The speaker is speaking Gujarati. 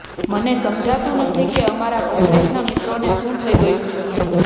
મને સમજાતુ નથી કે અમારા કોંગ્રેસના મિત્રોને શુ થઈ ગયુ છે